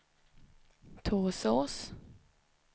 Torsås